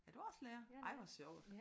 Er du også lærer? Ej hvor sjovt